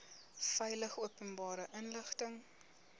veilig openbare inligting